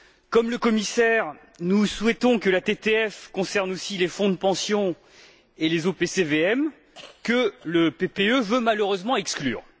Comme le commissaire, nous souhaitons que la TTF concerne aussi les fonds de pension et les OPCVM, que le PPE veut malheureusement exclure.